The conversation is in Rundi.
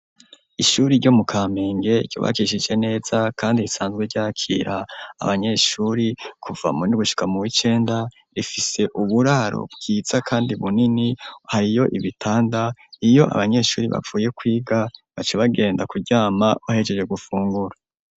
Ishuri ryo mu Kamenge, ryubakishije neza kandi risanzwe ryakira abanyeshuri kuva mu w'indwi gushika mu w'icenda, rifise uburaro bwiza kandi bunini, hariyo ibitanda, iyo abanyeshuri bavuye kwiga, baca bagenda kuryama bahejeje gufungura.